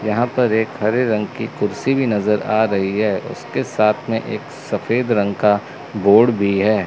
यहां पर एक हरे रंग की कुर्सी भी नजर आ रही है उसके साथ में एक सफेद रंग का बोर्ड भी है।